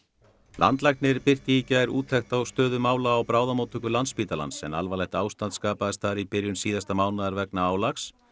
landlæknir birti í gær úttekt á stöðu mála á bráðamóttöku Landspítalans en alvarlegt ástand skapaðist þar í byrjun síðasta mánaðar vegna álags